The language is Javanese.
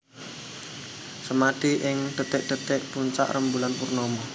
Semadi ing dhetik dhetik puncak rembulan purnama